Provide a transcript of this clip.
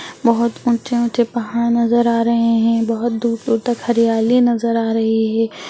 बहुत ऊँचे-ऊँचे पहाड़ नजर आ रहे हैं | बहुत दूर-दूर तक हरियाली नजर आ रही है।